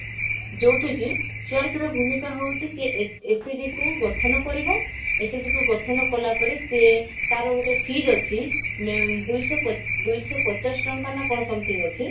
ଯଉଠି କି CRP ର ଭୂମିକା ହଉଛି ସିଏ ଏସ SHG କୁ ଗଠନ କରିବ SHG କୁ ଗଠନ କଲା ପରେ ସିଏ ତାର ଗୋଟେ fees ଅଛି ମ ଦୁଇଶହ ପ ଦୁଇଶହ ପଚାଶ ଟଙ୍କା ନା କଣ something ଅଛି